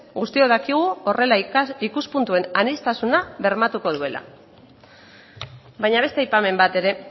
guztiok dakigu horrela ikuspuntuen aniztasuna bermatuko duela baina beste aipamen bat ere